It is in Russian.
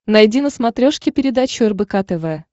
найди на смотрешке передачу рбк тв